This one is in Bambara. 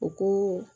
U ko